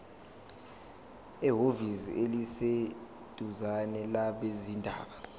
ehhovisi eliseduzane labezindaba